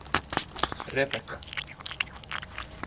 Rebekka